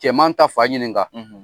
Cɛman ta fa ɲininka ka